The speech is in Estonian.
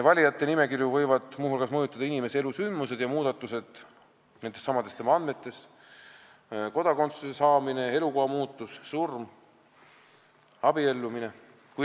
Valijate nimekirju võivad muu hulgas mõjutada inimese elusündmused ja muudatused tema andmetes: kodakondsuse saamine, elukoha muutus, surm, abiellumine.